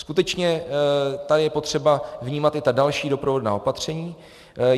Skutečně, ta je potřeba, vnímat i ta další doprovodná opatření.